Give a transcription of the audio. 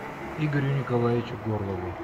игорю николаевичу горлову